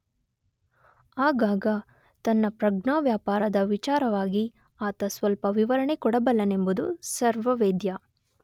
ಆಗಾಗ ತನ್ನ ಪ್ರಜ್ಞಾವ್ಯಾಪಾರದ ವಿಚಾರವಾಗಿ ಆತ ಸ್ವಲ್ಪ ವಿವರಣೆ ಕೊಡಬಲ್ಲನೆಂಬುದು ಸರ್ವವೇದ್ಯ.